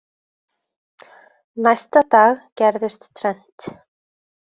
Næsta dag gerðist tvennt.